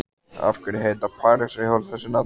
Af hverju heita parísarhjól þessu nafni?